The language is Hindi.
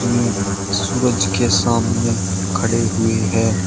ये सूरज के सामने खड़े हुए हैं।